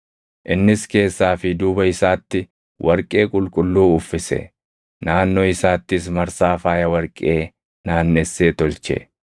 Innis keessaa fi duuba isaatti warqee qulqulluu uffise; naannoo isaattis marsaa faaya warqee naannessee tolche.